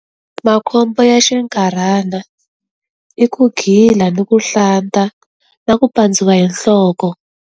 Makhombo ya xinkarhana i ku gila ni ku hlanta na ku pandziwa hi nhloko.